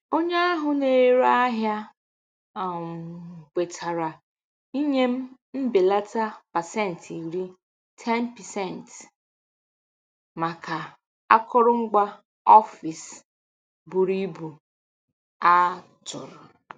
Onye ahụ na-ere ahịa um kwetara inye m mbelata pasentị iri (10%) maka akụrụngwa ọfịs buru ibu a tụrụ.